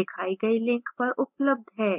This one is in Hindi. दिखाई गई link पर उपलब्ध है